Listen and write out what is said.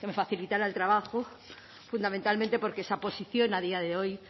facilitara el trabajo fundamentalmente porque esa posición a día de hoy